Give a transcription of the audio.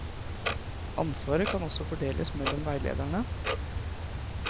Ansvaret kan også fordeles mellom veilederne.